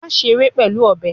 Maṣe ṣere pẹlu ọbẹ